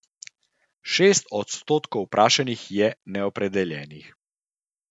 Šest odstotkov vprašanih je neopredeljenih.